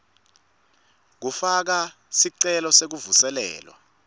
kufaka sicelo sekuvuselelwa